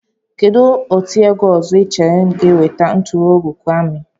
Kedụ otiegwu ọzọ Ị chere ga-enweta nturuugo grami?